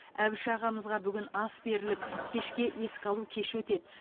әбіш ағамызға бүгін ас беріліп кешке еске алу кеші өтеді